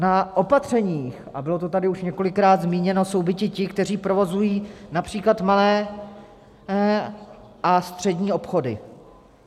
Na opatřeních, a bylo to tady už několikrát zmíněno, jsou biti ti, kteří provozují například malé a střední obchody.